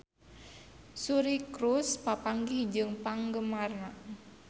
Suri Cruise papanggih jeung penggemarna